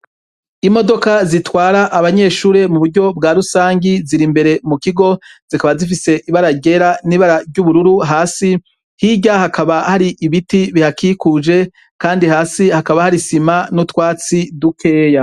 Imodoka zitwara abanyeshure muburyo bwa rusangi zirimbere mukigo, zikaba zifise ibara ryera n’ibara ry’ubururu hasi, hirya hakaba hari ibiti bihakikuje Kandi hasi hakaba har’isima n’utwatsi dukeya.